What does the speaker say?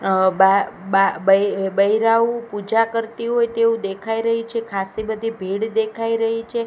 અ બા બા બ બૈરાઓ પૂજા કરતી હોય તેવુ દેખાય રહી છે ખાસ્સી બધી ભીડ દેખાય રહી છે.